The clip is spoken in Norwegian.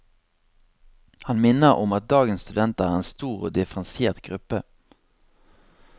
Han minner om at dagens studenter er en stor og differensiert gruppe.